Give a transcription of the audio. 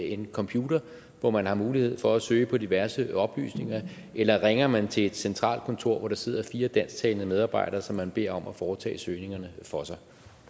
en computer hvor man har mulighed for at søge på diverse oplysninger eller ringer man til et centralt kontor hvor der sidder fire dansktalende medarbejdere som man beder om at foretage søgningerne for sig